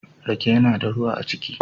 Rake yana da ruwa a ciki.